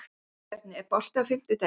Guðbjarni, er bolti á fimmtudaginn?